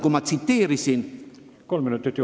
Kolm minutit juurde, palun!